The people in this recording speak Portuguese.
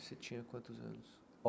Você tinha quantos anos?